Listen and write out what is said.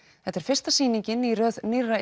þetta er fyrsta sýningin í röð nýrra